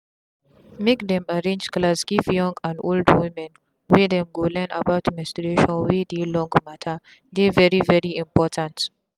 make dem them arrange class give young and old women where dem go learn about menstruation wey dey long matter dey very very important.